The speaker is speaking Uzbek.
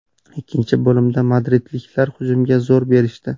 Ikkinchi bo‘limda madridliklar hujumga zo‘r berishdi.